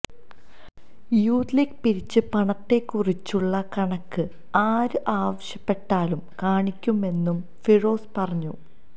youth league പിരിച്ച പണത്തെക്കുറിച്ചുള്ള കണക്ക് ആര് ആവശ്യപ്പെട്ടാലും കാണിക്കുമെന്നും ഫിറോസ് പറഞ്ഞു